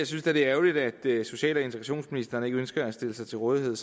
synes det er ærgerligt at social og integrationsministeren ikke ønsker at stille sig til rådighed